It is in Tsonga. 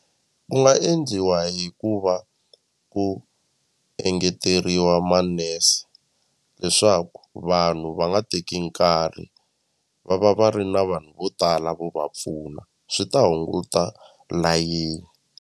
Ku nga endliwa hi ku va ku engeteriwa manese leswaku vanhu va nga teki nkarhi va va va ri na vanhu vo tala vo va pfuna swi ta hunguta layeni.